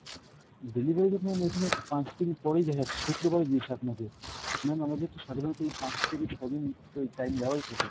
delivery তো ma'am এখানে পাঁচদিন পরেই দেখাচ্ছে, শুক্রবারে দিয়েছে আপনাকে। ma'am আমরা যেহেতু সাধারণত এই পাঁচ থেকে ছ'দিন ওই time দেওয়াই থাকে।